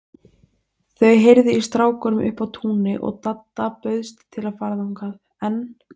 Þau heyrðu í strákunum uppi á túni og Dadda bauðst til að fara þangað, en